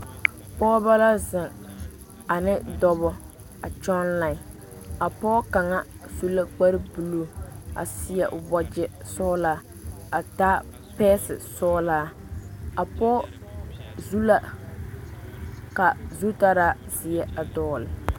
Pɔgeba la zeŋ ane dɔba, a kyɔŋ fuoli, pɔge kaŋa su la kpare buuluu a seɛ o wagyɛ sɔglaa a taa pesi sɔglaa, a pɔge leŋ la deko zeɛ.